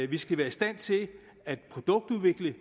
vi skal være i stand til at produktudvikle